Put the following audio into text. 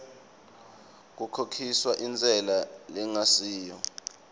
kukhokhiswa intsela lengasiyo